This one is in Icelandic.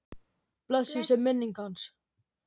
Blessuð sé minning hans!